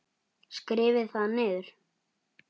Skrifið þá niður.